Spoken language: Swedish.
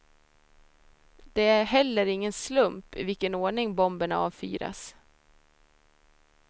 Det är heller ingen slump i vilken ordning bomberna avfyras.